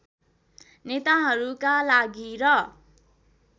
नेताहरूका लागि र